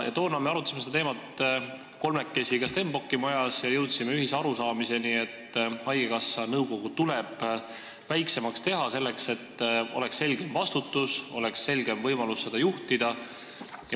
Toona me arutasime seda teemat kolmekesi ka Stenbocki majas ja jõudsime ühisele arusaamisele, et haigekassa nõukogu tuleb väiksemaks teha, selleks et vastutus oleks selgem ja oleks võimalus selgemalt juhtida.